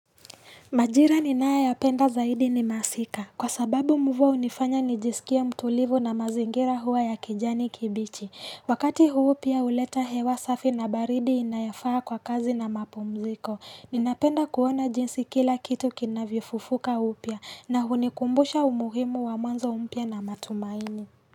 Majira ninayo ya penda zaidi ni masika. Kwa sababu mvua hunifanya nijisikia mtulivu na mazingira huwa ya kijani kibichi. Wakati huu pia huleta hewa safi na baridi inayofaa kwa kazi na mapumziko. Ninapenda kuona jinsi kila kitu kinavyofufuka upya na hunikumbusha umuhimu wa mwanzo mpya na matumaini.